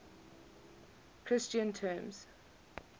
christian terms